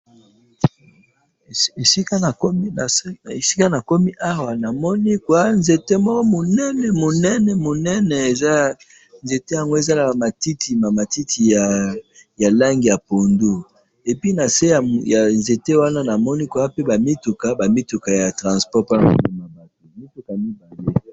Na moni nzete ya munene na matiti mingi, n se na yango mituka ya transport.